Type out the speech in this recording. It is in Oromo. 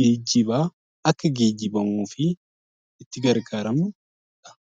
geejibaa akka geejibamnuuf itti gargaaramnudha.